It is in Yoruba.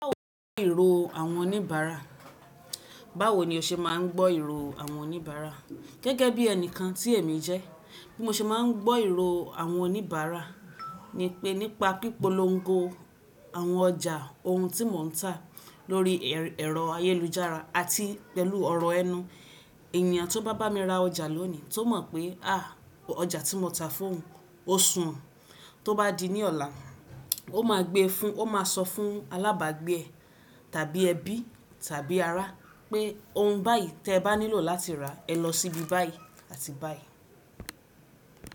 Báwo ni ìro àwọn oníbàárà? Báwo ni o ṣe máa ń gbọ́ ìro àwọn oníbàárà? Gẹ́gẹ́ bí ẹnìkan tí èmi jẹ́, bí mo ṣe máa ń gbọ́ ìro àwọn oníbàárà ni pé nípa pípolongo àwọn ọjà ohun tí mò ń tà lórí ẹ̀rọ ayélujára àti pẹ̀lú ọ̀rọ̀ ẹnu. Ènìyàn tó bá bá mi ra ọjà lónìí tó mọ̀ pé à ọjà tí mo tà fún òun ó su ọ̀n. Tó bá di ní ọ̀la, ó máa sọ fún alábàágbé ẹ, tàbí ẹbí tàbí ará pé ohun báyìí tí ẹ bá nílò láti rà ẹ lọ síbi báyìí àti báyìí.